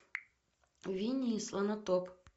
винни и слонотоп